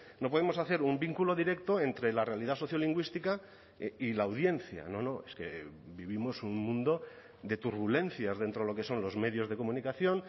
no podemos hacer un vínculo directo entre la realidad sociolingüística y la audiencia no no es que vivimos un mundo de turbulencias dentro de lo que son los medios de comunicación